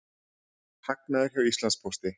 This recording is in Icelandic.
Hagnaður hjá Íslandspósti